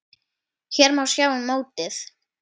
Hér má sjá mótið.